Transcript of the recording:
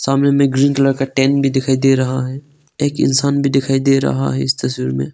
सामने में green colour का टेंट भी दिखाई दे रहा है एक इंसान भी दिखाई दे रहा है इस तस्वीर में।